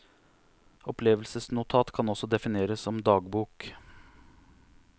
Opplevelsesnotat kan også defineres som dagbok.